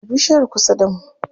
A bishiyar kusa da mu.